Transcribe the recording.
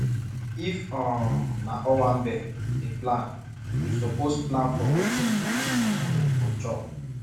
if um na owanbe you dey plan you suppose plan for wetin pipo um go chop